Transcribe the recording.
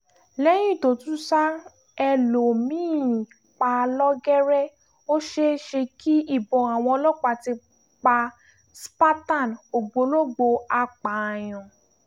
lẹ́yìn tó tún ṣa ẹlòmí-ín pa lọ́gẹ́rẹ́ ó ṣeé ṣe kí ìbọn àwọn ọlọ́pàá ti pa spartan ògbólógbòó apààyàn